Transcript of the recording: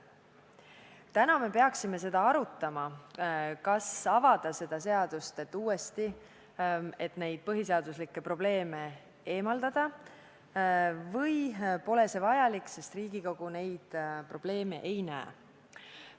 Täna me peaksime arutama, kas avada see seadus uuesti, et neid põhiseaduslikkust puudutavaid probleeme eemaldada, või pole see vajalik, sest Riigikogu neid probleeme ei näe.